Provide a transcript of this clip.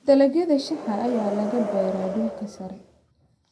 Dalagga shaaha ayaa laga beeraa dhulka sare.